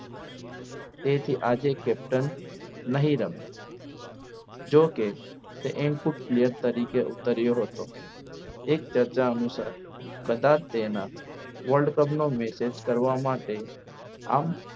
તેથી આજે captain નહીં રમે જોકે તે and boot તરીકે ઉતર્યો હતો. એક ચર્ચા અનુસાર કદાચ તેના World Cup નો message કરવા માટે આમ